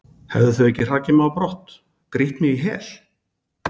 hefðu þau ekki hrakið mig á brott, grýtt mig í hel?